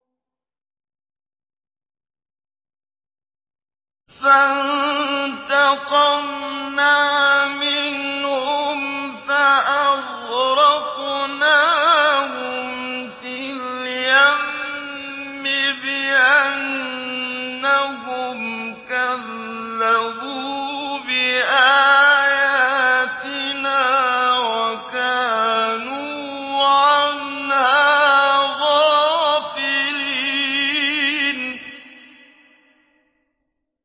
فَانتَقَمْنَا مِنْهُمْ فَأَغْرَقْنَاهُمْ فِي الْيَمِّ بِأَنَّهُمْ كَذَّبُوا بِآيَاتِنَا وَكَانُوا عَنْهَا غَافِلِينَ